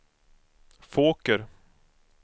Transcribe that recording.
Fåker